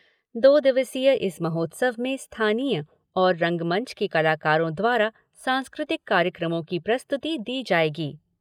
दो दिवसीय इस महोत्सव में स्थानीय और रंगमंच के कलाकारों द्वारा सांस्कृतिक कार्यक्रमों की प्रस्तुति दी जाएगी।